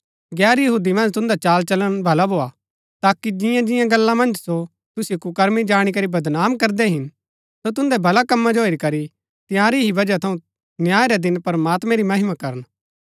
गैर यहूदी मन्ज तुन्दा चालचलन भला भोआ ताकि जिंआं जिंआं गल्ला मन्ज सो तुसिओ कुकर्मी जाणी करी बदनाम करदै हिन सो तुन्दै भलै कम्मा जो हेरी करी तंयारी ही वजह थऊँ न्याय रै दिनै प्रमात्मैं री महिमा करन